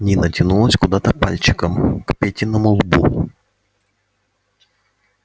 нина тянулась куда-то пальчиком к петиному лбу